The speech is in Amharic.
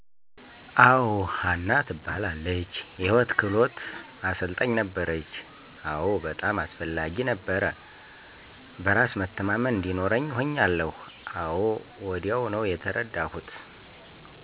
አወ. ሀና ትባላለች የህይወት ክህሉት አሰልጣኝ ነበረች፣ አወ በጣም አስፈላጊ ነበረ። በራስ መተማመን እዲኖርኛ ሁኛለሁ አወ ወዲያው ነው የተርዳሁት።